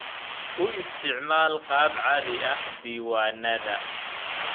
U isticmaal qaab caadi ah diiwaannadaada.